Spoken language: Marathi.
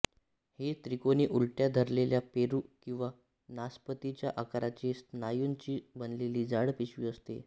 ही त्रिकोनी उलट्या धरलेल्या पेरू किंवा नासपतीच्या आकाराची स्नायूंची बनलेली जाड पिशवी असते